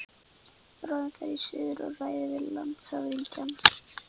Bráðum fer ég suður og ræði við landshöfðingjann.